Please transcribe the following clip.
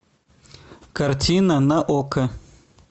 картина на окко